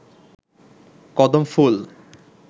কদম ফুল